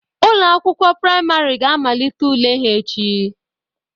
Ụlọ akwụkwọ priamarị ga amalite ule ha echi.